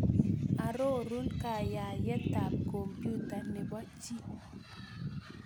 Arorun kaayaayetap kompyuta ne po chii